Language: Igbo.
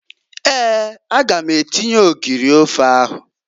Eeǃ A ga m atinye ogiri ofe ahụ.